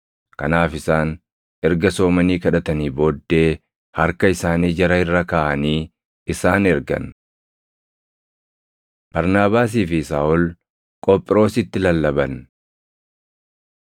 Kanaaf isaan erga soomanii kadhatanii booddee harka isaanii jara irra kaaʼanii isaan ergan. Barnaabaasii fi Saaʼol Qophiroositti Lallaban